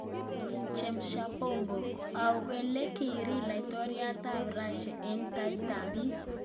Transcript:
Chemsha bongo: Au ole kiriir laitoryat ab Rasia eng taitab biik?